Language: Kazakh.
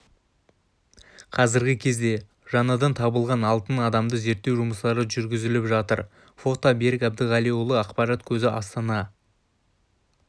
қазіргі кезде жаңадан табылған алтын адамды зерттеу жұмыстары жүріліп жатыр фото берік әбдіғалиұлы ақпарат көзі астана